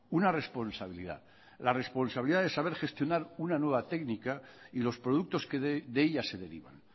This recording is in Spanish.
una responsabilidad la responsabilidad del saber gestionar una nueva técnica y los productos que de ella se derivan